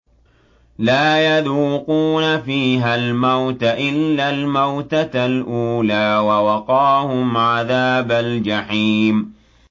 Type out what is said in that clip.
لَا يَذُوقُونَ فِيهَا الْمَوْتَ إِلَّا الْمَوْتَةَ الْأُولَىٰ ۖ وَوَقَاهُمْ عَذَابَ الْجَحِيمِ